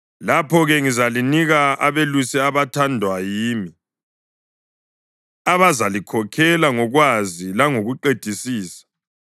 Lapho-ke ngizalinika abelusi abathandwa yimi, abazalikhokhela ngokwazi langokuqedisisa.